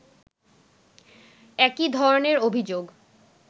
একই ধরনের অভিযোগ